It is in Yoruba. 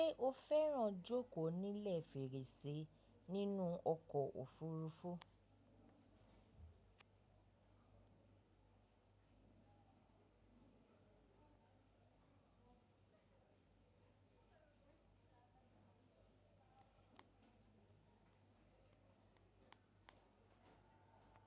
Ṣé o fẹ́ràn jókò nílẹ̀ fèrèsé nínú ọkọ̀ òfurufú?